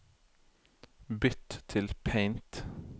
bytt til Paint